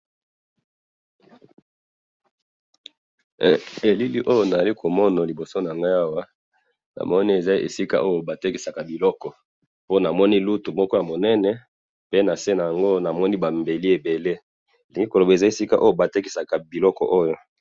elili oyo nalikomona libosonanga awa namoni eza esika oyo batekisaka biloko pona namoni lutu moko yamunene pe nase nango namoni ba mbeli ebele ndeloba esika batekisaka biloko oyo